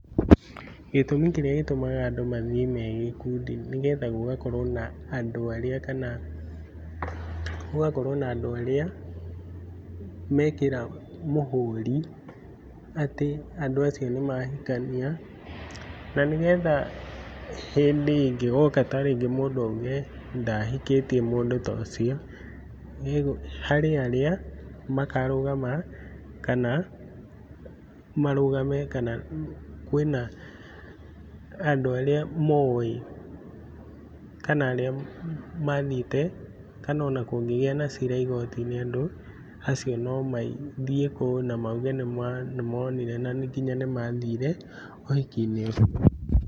Gĩtũmi kĩrĩa gĩtũmaga andũ mathiĩ megĩkundi nĩgetha gũgakorwo na andũ arĩa kana gũgakorwo na andũ arĩa mekĩra mũhũri atĩ andũ acio nĩmahikania nanĩgetha hĩndĩ ĩngĩgoka tarĩngĩ mũndũ auge ndahikĩtie mũndũ tũcio, harĩ arĩa makarũgama kana marũgame kana kwĩna andũ arĩa moĩ kana arĩa mathiĩte kana onakũngĩgĩa na cira igoti-inĩ atĩ andũ acio mathiĩ kũu namauge atĩ nĩmonire nanginya nĩmathire ũhiki-inĩ ũcio.